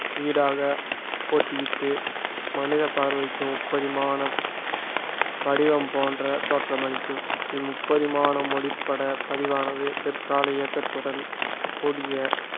ஈடாக போட்டியிட்டு மனித பார்வைக்கு முப்பரிமான வடிவம் போன்ற தோற்றமளிக்கும் இம்முப்பரிமான ஒளிப்பட பதிவானது பிற்கால இயக்கத்துடன் கூடிய